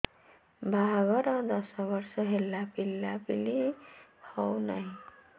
ବାହାଘର ଦଶ ବର୍ଷ ହେଲା ପିଲାପିଲି ହଉନାହି